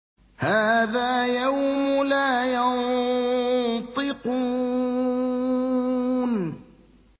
هَٰذَا يَوْمُ لَا يَنطِقُونَ